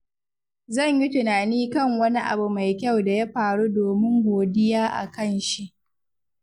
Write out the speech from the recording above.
Zan yi tunani kan wani abu mai kyau da ya faru domin godiya a kan shi.